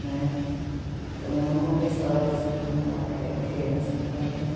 Né, então minha mãe conta histórias assim de quando ela era criança, meu pai também.